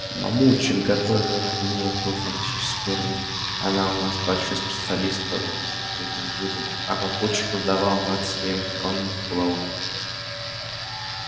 мамульчик готовила некую фантастическую рыбу она у нас большой специалист по рыбным блюдам а папульчик колдовал над своим коронным пловом